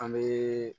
An bɛ